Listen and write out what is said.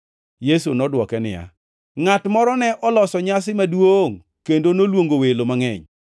Yesu nodwoke niya, “Ngʼat moro ne oloso nyasi maduongʼ kendo noluongo welo mangʼeny.